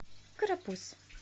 карапуз